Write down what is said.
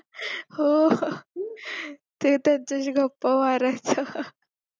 हो हो ते त्यांच्याशी गप्पा मारायच्या